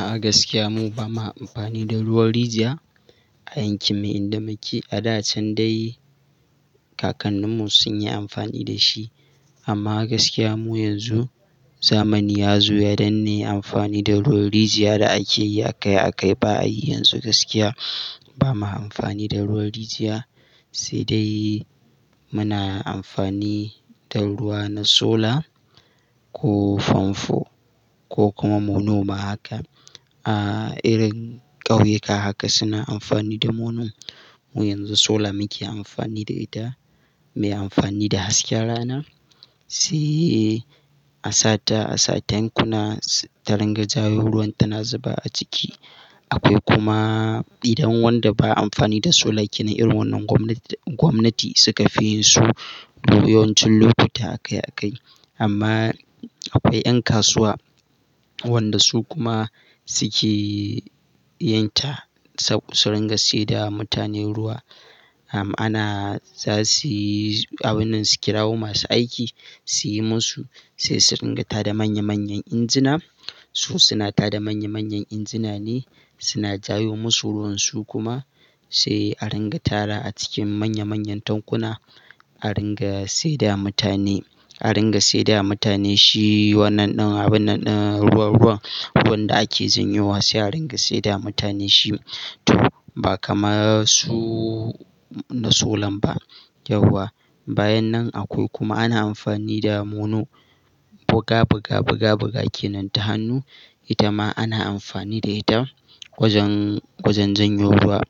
A gaskiya mu ba ma amfani da ruwan rijiya a yankin mu inda muke. A da can dai kakannin mu sun yi amfani da shi amma gaskiya mu yanzu zamani ya zo ya danne amfani da ruwan rijiya da ake yi a kai a kai ba'a yi yanzu gaskiya ba ma amfani da ruwan rijiya. Sai dai muna amfani da ruwa na sola, ko famfo, ko kuma mono ma haka. A irin ƙauyuka haka suna amfani da mono. Mu yanzu sola muke amfani da ita, muyi amfani da hasken rana, sai a sata a sa tankuna taringa jawo ruwan tana zuba a ciki. Akwai kuma idan wanda ba amfani da sola ke nan irin wannan gwamnati suka fi so mu yawancin lokuta a kai a kai. Amma akwai 'ƴan kasuwa, wanda su kuma suke yinta, su ringa saida ma mutane ruwa. Am ana za su yi abun nan su kirawo masu aiki su yi musu sai su ringa tada manya manyan injina. Su suna tada manya-manyan injina ne, suna jayo musu ruwan su kuma, sai a ringa tarawa a cikin manya-manyan tankuna a ringa saidawa mutane. A ringa saidawa mutane, shi wannan ɗin abun nan ɗin ruwa-ruwa, wanda ake janyo wa sai a ringa saidawa mutane shi to, ba kamar su na solan ba yauwa. Bayan nan akwai kuma ana amfani da mono, buga-buga buga-buga kenan da hannu ita ma ana amfani da ita, wajen wajen janyo ruwa.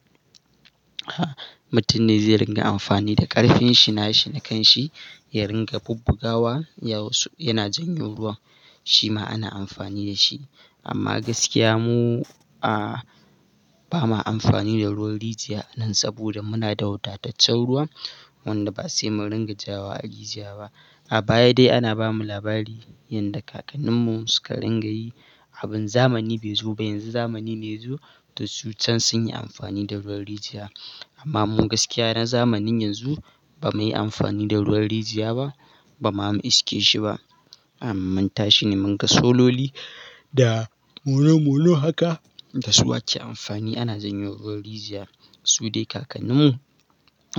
Mutum ne zai ringa amfani da ƙarfin shi na shi na kan shi, ya ringa bubbugawa, ya yana janyo ruwa, shi ma ana amfani da shi. Amma gaskiya, mu a ba ma amfani da ruwan rijiya a nan saboda muna da wadataccen ruwa wanda ba sai mu ringa jawowa a rijiya ba. A baya dai ana bamu labari, yanda kakannin mu suka ringa yi, abin zamani bai zo ba. Yanzu zamani ne ya zo, to su can sun yi amfani da ruwan rijiya. Amma mu gaskiya na zamanin yanzu ba muyi amfani da ruwan rijiya ba, ba ma mu iske shi ba. Am mun tashi ne mun ga sololi, da mono mono haka, da su ake amfani ana janyo ruwan rijiya. Su dai kakannin mu,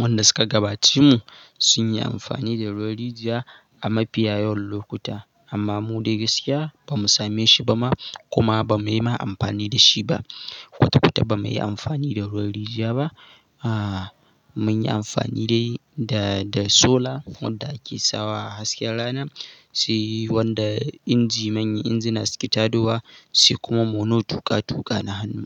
wanda suka gabaci mu sun yi amfani da ruwan rijiya a mafiya yawan lokuta. Amma mu dai gaskiya ba mu same shi ba ma, kuma ba muyi ma amfani da shi ba. Kwata-kwata ba muyi amfani da ruwan rijiya ba. A mun yi amfani dai da da sola wanda ake sawa a hasken rana, sai wanda inji manya injina suke tadowa, sai kuma mono tuƙa tuƙa na hannu.